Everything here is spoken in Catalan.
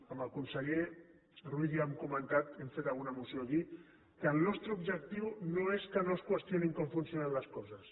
amb el conseller ruiz ja ho hem comentat hem fet alguna moció aquí que el nostre objectiu no és que no es qüestionin com funcionen les coses